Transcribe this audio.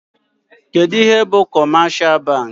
Kedụ ihe bụ kọmeshal bankị?